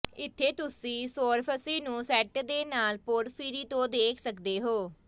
ਇੱਥੇ ਤੁਸੀਂ ਸੌਰਫਸੀ ਨੂੰ ਸੈਂਟ ਦੇ ਲਾਲ ਪੋਰਫ੍ਰੀਰੀ ਤੋਂ ਦੇਖ ਸਕਦੇ ਹੋ